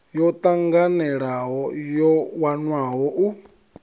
yo tanganelaho yo wanwaho u